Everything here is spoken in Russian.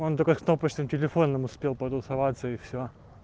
он только кнопочным телефоном успел потусоваться и все